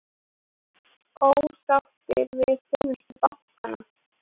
Ósáttir við þjónustu bankanna